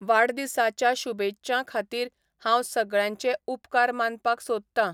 वाडदिसाच्या शुभेच्छां खातीर हांव सगळ्यांचे उपकार मानपाक सोदतां